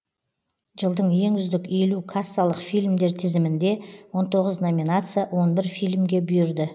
жылдың ең үздік елу кассалық фильмдер тізімінде он тоғыз номинация он бір фильмге бұйырды